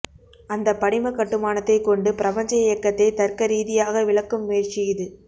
அந்த படிமக் கட்டுமானத்தைக் கொண்டு பிரபஞ்ச இயக்கத்தை தர்க்க ரீதியாக விளக்கும் முயற்சி இது